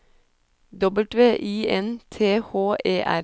W I N T H E R